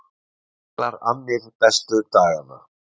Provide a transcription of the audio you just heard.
Miklar annir bestu dagana